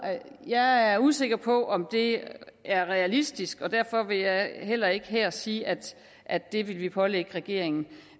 jeg er usikker på om det er realistisk og derfor vil jeg heller ikke her sige at at det vil vi pålægge regeringen